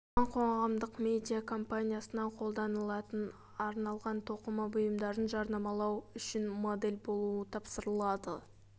оған қоғамдық медиа компаниясына қолданылатын арналған тоқыма бұйымдарын жарнамалау үшін модель болу тапсырылады